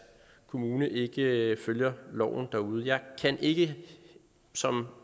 kommune ikke følger loven derude jeg kan ikke som